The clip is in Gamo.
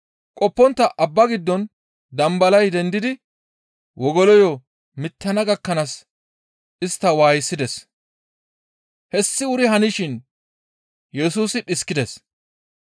Qoppontta abba giddon dambalay dendidi wogoloyo mittana gakkanaas istta waayisides. Hessi wuri hanishin Yesusi dhiskides.